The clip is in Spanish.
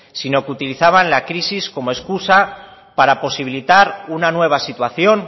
sino que utilizaban la crisis como escusa para posibilitar una nueva situación